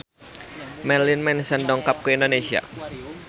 Marilyn Manson dongkap ka Indonesia